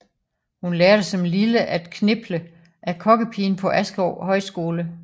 Hun lærte som lille at kniple af kokkepigen på Askov Højskole